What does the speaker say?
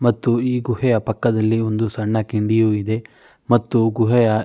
ಮತ್ತು ಈ ಗುಹೆಯ ಪಕ್ಕದಲ್ಲಿ ಒಂದು ಸಣ್ಣ ಕಿಂಡಿಯು ಇದೆ ಮತ್ತು ಗುಹೆಯ--